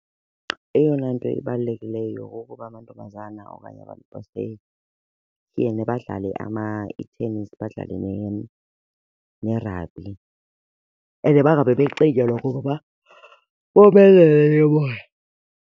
Eyona nto ibalulekileyo kukuba amantombazana okanye abantu basetyhini badlale i-tennis badlale ne-rugby and bangabe becingelwa kuba bomelele ke bona.